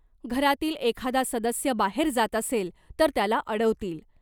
घरातील एखादा सदस्य बाहेर जात असेल तर त्याला अडवतील .